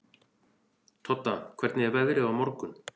Todda, hvernig er veðrið á morgun?